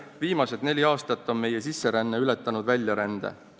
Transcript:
Viimased neli aastat on meie sisseränne ületanud väljarände.